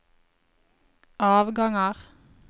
avganger